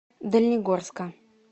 дальнегорска